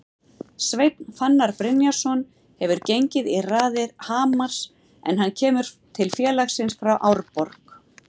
Sveinn Fannar Brynjarsson hefur gengið í raðir Hamars en hann kemur til félagsins frá Árborg.